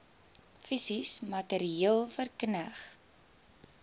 fisies materieel verkneg